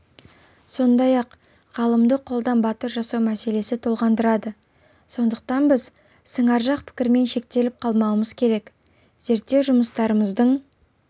сондай-ақ ғалымды қолдан батыр жасау мәселесі толғандырады сондықтан біз сыңаржақ пікірмен шектеліп қалмауымыз керек зерттеу жұмыстарымыздың